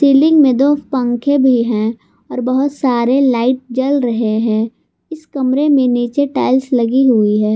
लिंग में दो पंखे भी है और बहुत सारे लाइट जल रहे हैं इस कमरे में नीचे टाइल्स लगी हुई है।